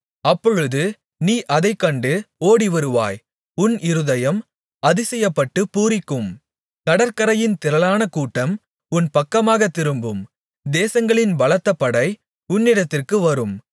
அப்பொழுது நீ அதைக் கண்டு ஓடிவருவாய் உன் இருதயம் அதிசயப்பட்டுப் பூரிக்கும் கடற்கரையின் திரளான கூட்டம் உன் பக்கமாகத் திரும்பும் தேசங்களின் பலத்த படை உன்னிடத்திற்கு வரும்